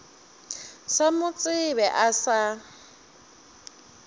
sa mo tsebe o sa